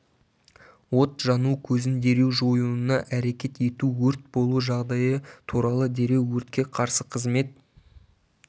от жану көзін дереу жоюына әрекет ету өрт болу жағдайы туралы дереу өртке қарсы қызмет